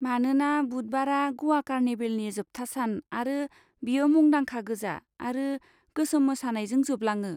मानोना बुधबारआ ग'वा कार्निभेलनि जोबथा सान आरो बेयो मुंदांखा गोजा आरो गोसोम मोसानायजों जोबलाङो।